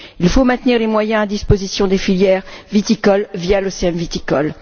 Il faut maintenir les moyens à disposition des filières viticoles via l'OCM viticole.